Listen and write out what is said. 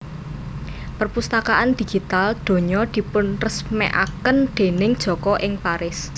Perpustakaan Digital Donya dipunresmèkaken déning Joko ing Paris